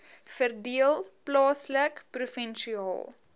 verdeel plaaslik provinsiaal